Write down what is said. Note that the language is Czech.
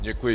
Děkuji.